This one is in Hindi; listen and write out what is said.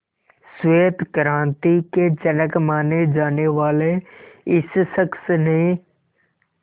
श्वेत क्रांति के जनक माने जाने वाले इस शख्स ने